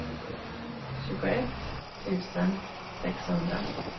tjugoett tusen sexhundra